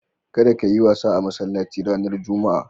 Kada kayi wasa a masallaci ranar Juma'a.